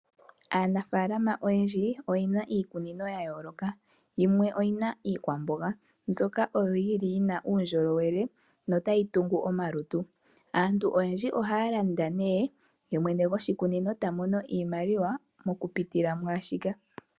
Aanafaalama oyendji oyena iikunino ya yooloka. Yimwe oyina iikwamboga mbyoka yina uundjolowele na otayi tungu omalutu. Aantu oyendji ohaya landa nee ye mwene goshi kunino eta mono iimaliwa oku pitila mwaashika.